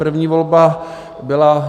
První volba byla: